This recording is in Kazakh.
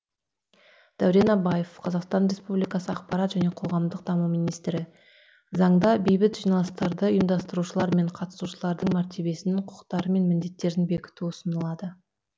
дәурен абаев қазақстан республикасы ақпарат және қоғамдық даму министрі заңда бейбіт жиналыстарды ұйымдастырушылар мен қатысушылардың мәртебесін құқықтары мен міндеттерін бекіту ұсынылады